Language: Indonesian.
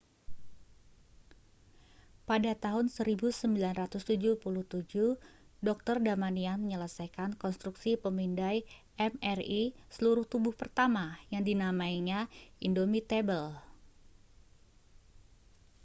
"pada tahun 1977 dr. damadian menyelesaikan konstruksi pemindai mri seluruh tubuh pertama yang dinamainya indomitable".